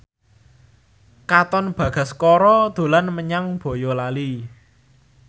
Katon Bagaskara dolan menyang Boyolali